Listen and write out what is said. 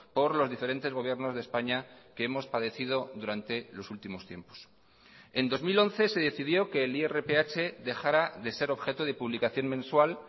por los diferentes gobiernos de españa que hemos padecido durante los últimos tiempos en dos mil once se decidió que el irph dejara de ser objeto de publicación mensual